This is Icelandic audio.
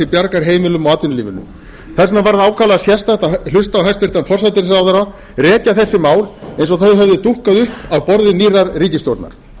bjargar heimilum og atvinnulífinu þess vegna var ákaflega sérstakt að hlusta á hæstvirtan forsætisráðherra rekja þessi mál eins og þau hefðu dúkkað upp af borði nýrrar ríkisstjórnar